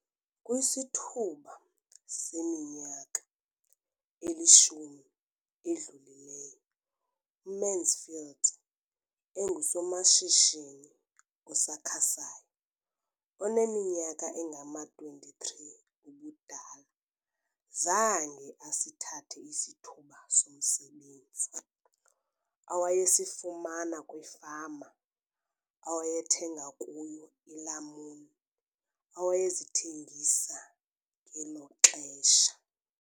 Kwisithuba seminyaka elishumi edlulileyo, uMansfield engusomashishini osakhasayo oneminyaka engama-23 ubudala, zange asithathe isithuba somsebenzi awayesifumana kwifama awayethenga kuyo iilamuni awayezithengisa ngelo xesha.